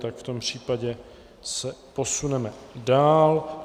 Tak v tom případě se posuneme dál.